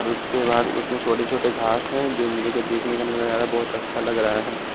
उसके बाद उसमें छोटे-छोटे घास है जो मेरे को देखने को नजर आ रहा है बहुत अच्छा लग रहा है।